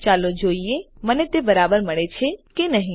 ચાલો જોઈએ મને તે બરાબર મળે છે કે નહી